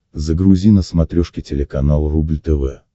загрузи на смотрешке телеканал рубль тв